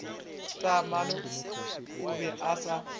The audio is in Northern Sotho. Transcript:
taamane o be a sa